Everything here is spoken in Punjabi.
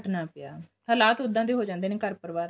ਹਟਨਾ ਪਿਆ ਹਾਲਾਤ ਉੱਦਾਂ ਦੇ ਹੋ ਜਾਂਦੇ ਨੇ ਘਰ ਪਰਿਵਾਰ